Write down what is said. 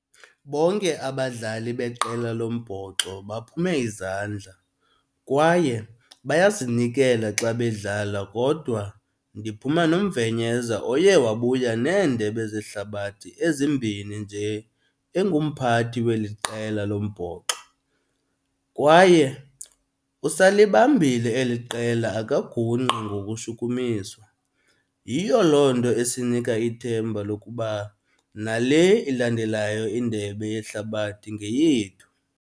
Bonke abadlali beqela lombhoxo baphume izandla kwaye bayazinikela xa bedlala kodwa ndiphuma noMvenyeza oye wabuya neeNdebe zeHlabathi ezimbini nje engumphathi weli qela lombhoxo. Kwaye usalibambile eli qela akagungqi ngokushukumiswa, yiyo loo nto esinika ithemba lokuba nale ilandelayo iNdebe yeHlabathi ngeyethu.